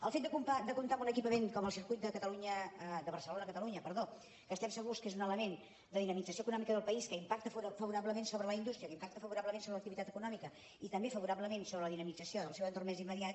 el fet de comptar amb un equipament com el circuit de barcelona catalunya que estem segurs que és un element de dinamització econòmica del país que impacta favorablement sobre la indústria que impacta favorablement sobre l’activitat econòmica i també favorablement sobre la dinamització del seu entorn més immediat